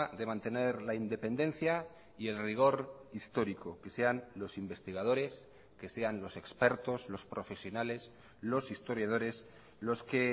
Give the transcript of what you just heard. de mantener la independencia y el rigor histórico que sean los investigadores que sean los expertos los profesionales los historiadores los que